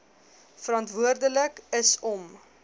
verantwoordelik is om